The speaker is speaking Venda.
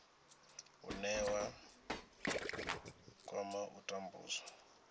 une wa kwama u tambudzwa